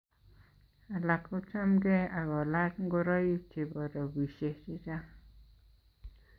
Alak kochamkei ak kolach ngoroik che bo robishe che chang.